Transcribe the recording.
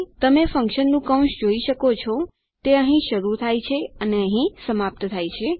તમે ફન્કશનનું કૌંસ જોઈ શકો છો તે અહીં શરૂ થાય છે અને અહીં સમાપ્ત થાય છે